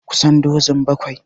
Kusan dozun bakwai